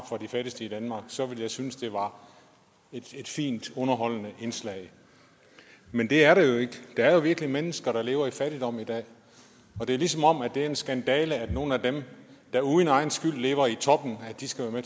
for de fattigste i danmark så ville jeg synes det var et fint underholdende indslag men det er det jo ikke der er jo virkelig mennesker der lever i fattigdom i dag og det er ligesom om at det er en skandale at nogle af dem der uden egen skyld lever i toppen skal være